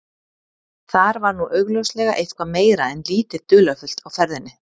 Þar var nú augljóslega eitthvað meira en lítið dularfullt á ferðinni.